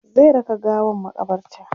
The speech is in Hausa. zai raka gawan makabarta